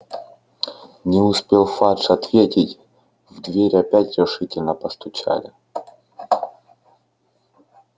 не успел фадж ответить в дверь опять решительно постучали